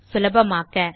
சுலபமாக்க